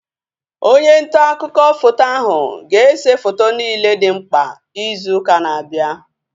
Onye ntaakụkọ foto ahu ga-ese foto niile dị mkpa izu ụka na-abịa